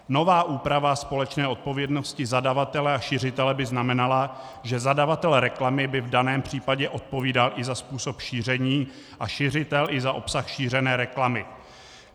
Nová úprava společné odpovědnosti zadavatele a šiřitele by znamenala, že zadavatel reklamy by v daném případě odpovídal i za způsob šíření a šiřitel i za obsah šířené reklamy.